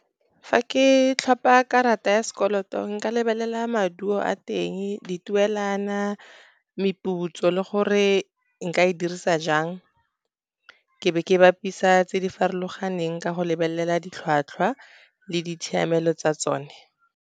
Fa ke tlhopa karata ya sekoloto nka lebelela maduo a teng, dituelana, meputso le gore nka e dirisa jang, ke be ke bapisa tse di farologaneng ka go lebelela ditlhwatlhwa, le ditshiamelo tsa tsone.